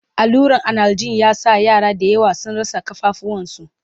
alluran analjin ya sa yara da yawa sun rasa kafafuwan su